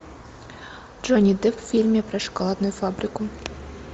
джонни депп в фильме про шоколадную фабрику